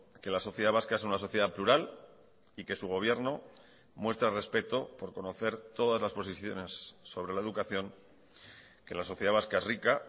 que la sociedad vasca es una sociedad plural y que su gobierno muestra respeto por conocer todas las posiciones sobre la educación que la sociedad vasca es rica